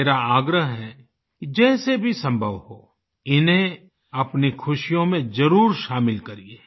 मेरा आग्रह है कि जैसे भी संभव हो इन्हें अपनी खुशियों में जरुर शामिल करिये